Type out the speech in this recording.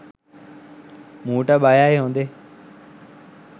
මූට බයයි හොදේ.